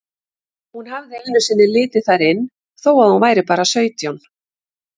Hún hafði einu sinni litið þar inn þó að hún væri bara sautján.